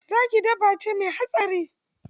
Zaki dabbace me hatsari.